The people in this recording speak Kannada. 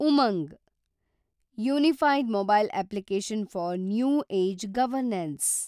Umang – unified mobile application for new age governance